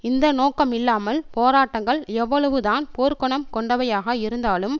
இந்த நோக்கமில்லாமல் போராட்டங்கள் எவ்வளவுதான் போர்க்குணம் கொண்டவையாக இருந்தாலும்